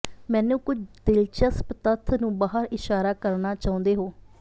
ਮੈਨੂੰ ਕੁਝ ਦਿਲਚਸਪ ਤੱਥ ਨੂੰ ਬਾਹਰ ਇਸ਼ਾਰਾ ਕਰਨਾ ਚਾਹੁੰਦੇ ਹੋ